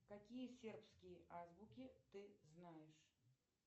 какие сербские азбуки ты знаешь